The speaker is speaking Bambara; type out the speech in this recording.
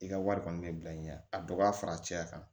I ka wari kɔni bɛ bila i ɲɛ a dɔ b'a fara cɛya kan